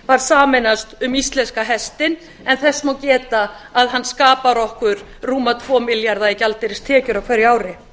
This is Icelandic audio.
var sameinast um íslenska hestinn en þess má geta að hann skapar okkur rúma tvo milljarða í gjaldeyristekjur á hverju ári